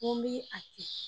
N go mi a m'i a kɛ